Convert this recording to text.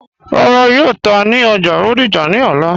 Rárá, yóò tà ní ọ́já Bódìjà ni ọ̀lá.